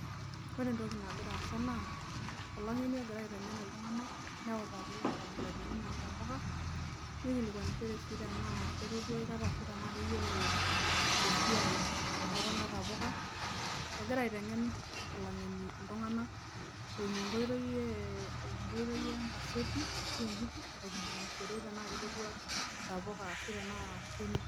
Ore entoki nagira aasa naa olang'eni ogira aiteng'en iltung'anak neutaki inkabilaritin oo ntapuka, nikilikuanishore sii tenaa ketodua aikata ashu tenaa keyiolo esiai e kuna tapuka. Egira aiteng'en olang'eni iltung'anak eimu enkoi ee eimu enkoitoi e nkaseti ashu embuku aikilikuanishore tenaake etodua intapuka ashu tenaa